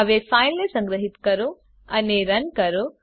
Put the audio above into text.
હવે ફાઈલને સંગ્રહીત કરો અને રન કરો